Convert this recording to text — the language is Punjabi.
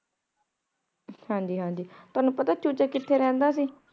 ਹਾਂਜੀ ਹਾਂਜੀ ਤਾਣੁ ਪਤਾ ਚੂਚਕ ਕਿਥੇ ਰਹੰਦਾ ਸੀ